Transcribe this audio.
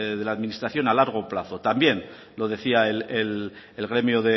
de la administración a largo plazo también lo decía el gremio